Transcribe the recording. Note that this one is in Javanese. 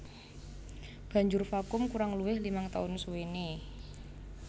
Banjur vakum kurang luwih limang taun suwené